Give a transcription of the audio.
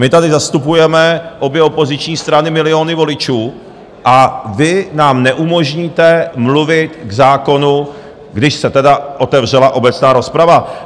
My tady zastupujeme obě opoziční strany, miliony voličů, a vy nám neumožníte mluvit k zákonu, když se tedy otevřela obecná rozprava?